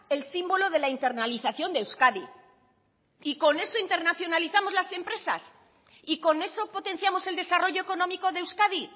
el símbolo de la internalización de euskadi y con eso internacionalizamos las empresas y con eso potenciamos el desarrollo económico de euskadi